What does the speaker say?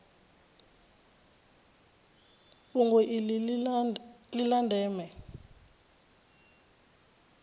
fhungo iḽi ḽi ḽa ndeme